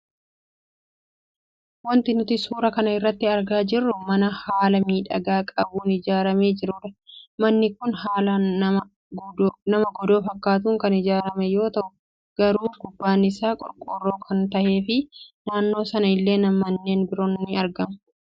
Waanti nuti suuraa kana irraa argaa jirru mana haala miidhagaa qabuun ijaaramee jirudha. Manni kun haala mana godoo fakkaatun kan ijaarame yoo tahu garuu gubbaan isaa qorqorroo kan tahee fi naannoo sana illee manneen biroon ni argamu.